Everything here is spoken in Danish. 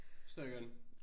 Det forstår jeg godt